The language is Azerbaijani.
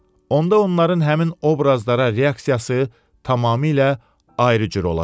Onda onların həmin obrazlara reaksiyası tamamilə ayrı cür olacaq.